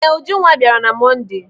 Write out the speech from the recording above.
Ee, Ujunwa bịara na Monde.